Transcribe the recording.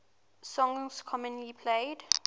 songs commonly played